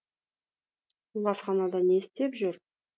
ол асханада не істеп жүр